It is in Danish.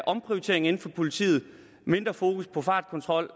omprioritering inden for politiet mindre fokus på fartkontrol